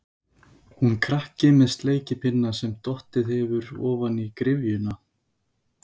Hún krakki með sleikipinna sem dottið hefur ofan í gryfjuna.